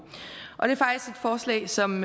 forslag som